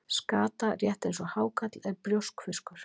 Skata, rétt eins og hákarl, er brjóskfiskur.